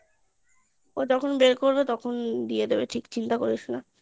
ও যখন বের করবে দিয়ে দেবে চিন্তা করিস না